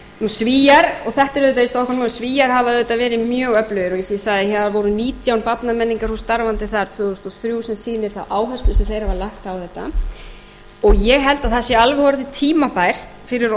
auðvitað í stokkhólmi og svíar hafa auðvitað verið mjög öflugir og eins og ég sagði það voru nítján barnamenningarhús starfandi þar tvö þúsund og þrjú sem sýnir þær áherslur sem þeir hafa lagt á þetta og ég held að það sé alveg orðið tímabært fyrir